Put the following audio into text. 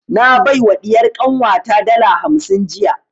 Na bai wa ɗiyar kanwa ta dala hamsin jiya